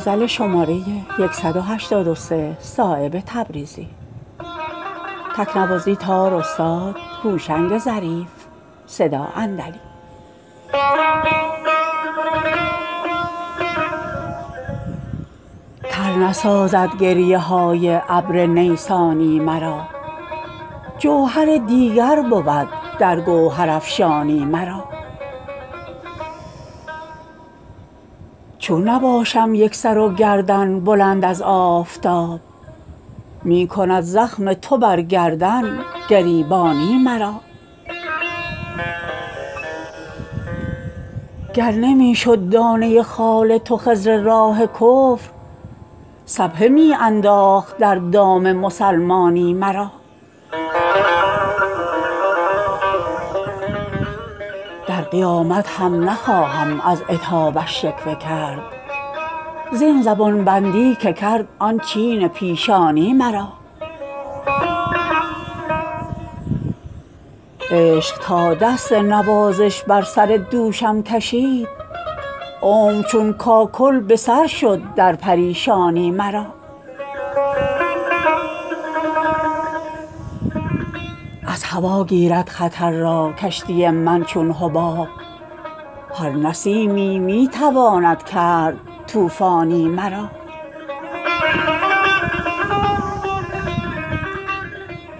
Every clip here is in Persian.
تر نسازد گریه های ابر نیسانی مرا جوهر دیگر بود در گوهرافشانی مرا چون نباشم یک سر و گردن بلند از آفتاب می کند زخم تو بر گردن گریبانی مرا گر نمی شد دانه خال تو خضر راه کفر سبحه می انداخت در دام مسلمانی مرا در قیامت هم نخواهم از عتابش شکوه کرد زین زبان بندی که کرد آن چین پیشانی مرا عشق تا دست نوازش بر سر دوشم کشید عمر چون کاکل به سر شد در پریشانی مرا از هوا گیرد خطر را کشتی من چون حباب هر نسیمی می تواند کرد طوفانی مرا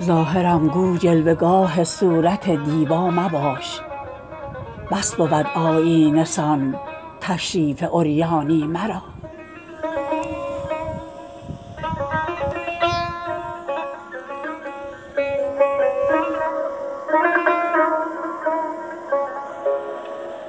ظاهرم گو جلوه گاه صورت دیبا مباش بس بود آیینه سان تشریف عریانی مرا